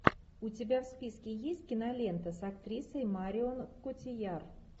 у тебя в списке есть кинолента с актрисой марион котийяр